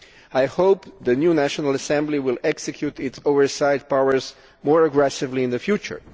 I hope that the new National Assembly will execute its oversight powers more aggressively in the future.